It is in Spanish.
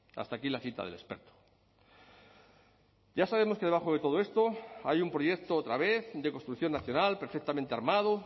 hasta aquí la cita del experto ya sabemos que debajo de todo esto hay un proyecto otra vez de construcción nacional perfectamente armado